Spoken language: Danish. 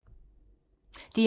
DR1